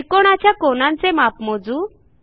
त्रिकोणाच्या कोनांचे माप मोजू